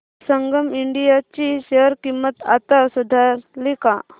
संगम India ची share किंमत आता सुधारली का